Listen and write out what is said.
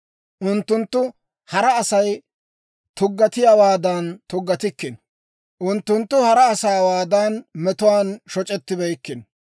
Unttunttu hara Asay tuggatiyaawaadan tuggatikkino; unttunttu hara asaawaadan metuwaan shoc'ettibeykkino.